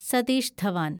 Satheesh Dhawan